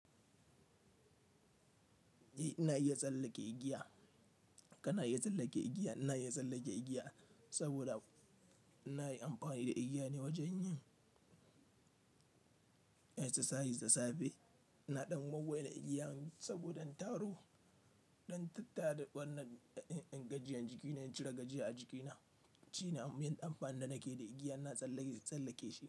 Eh ina iya tsallake igiya. Kana iya tsallake igiya? Ina iya tsallake igiya saboda ina yi amfani da igiya ne wajen yin exercises da safe. Ina ɗan wulwula igiyan saboda in taro, don tattara wannan, in, in, gajiyan jiki na, in cire gajiya a jikina. Shi ne abin amfanin da nake da igiya, ina tsallake, tsallake shi.